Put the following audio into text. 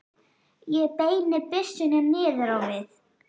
Ég beini byssunni niður á við.